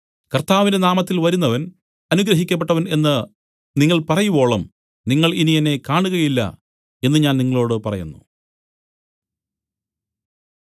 കർത്താവിന്റെ നാമത്തിൽ വരുന്നവൻ അനുഗ്രഹിക്കപ്പെട്ടവൻ എന്നു നിങ്ങൾ പറയുവോളം നിങ്ങൾ ഇനി എന്നെ കാണുകയില്ല എന്നു ഞാൻ നിങ്ങളോടു പറയുന്നു